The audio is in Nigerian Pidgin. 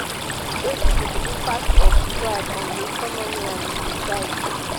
wetin be di impact of strike on di economy and di society?